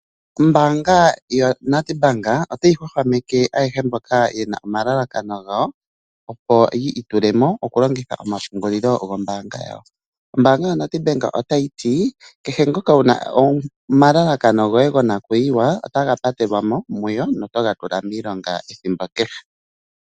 Ombaanga ya NedBank otayi hwahwameke ayehe mboka yena omalalakano gawo opo yi itule mo okulongitha omapungulilo gombaanga yawo. Ombaanga ya NedBank otayi ti kehe ngoka wuna omalalakano goye gonakuyiwa otaga patelwa mo muyo notoga tula miilonga ethimbo kehe.